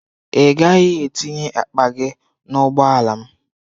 Ị gaghị etinye akpa gị n'ụgbọala m!